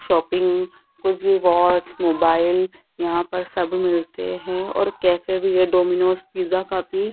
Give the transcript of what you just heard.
shopping watch mobile यहां पर सब मिलते हैं और कैफे भी है डोमिनोज पिज़्ज़ा का भी --